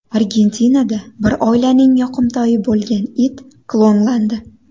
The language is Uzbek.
Argentinada bir oilaning yoqimtoyi bo‘lgan it klonlandi.